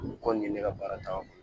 U kɔni ye ne ka baara ta